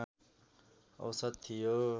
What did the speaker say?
औसत थियो